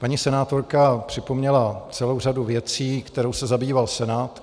Paní senátorka připomněla celou řadu věcí, kterou se zabýval Senát.